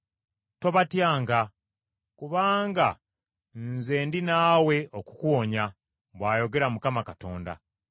Tobatyanga, kubanga nze ndi naawe okukuwonya,” bw’ayogera Mukama Katonda.